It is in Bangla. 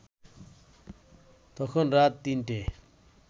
তখন রাত তিনটে